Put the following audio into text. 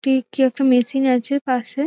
কি একটি একটা মেশিন আছে পাশে।